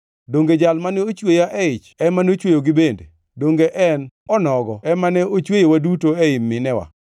Donge Jal mane ochweya e ich ema nochweyogi bende? Donge en onogo ema ne ochweyowa duto ei minewa?